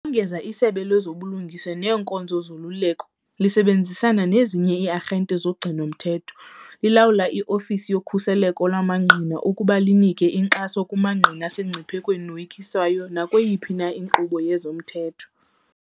Ukongeza, iSebe lezoBulungisa neeNkonzo zoLuleko, lisebenzisana nezinye ii-arhente zogcino-mthetho, lilawula i-Ofisi yoKhuseleko lwamaNgqina ukuba linike inkxaso kumangqina asemngciphekweni noyikiswayo nakweyiphi na inkqubo yezomthetho.